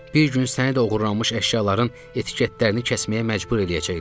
Bir gün səni də oğurlanmış əşyaların etiketlərini kəsməyə məcbur eləyəcəklər.